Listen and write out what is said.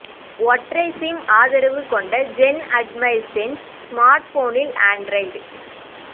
ஒற்றை சிம் ஆதரவு கொண்ட ஜென் அட்மைர் சென்ஸ் ஸ்மார்ட்போனில் ஆண்ட்ராய்டு